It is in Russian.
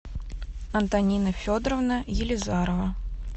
антонина федоровна елизарова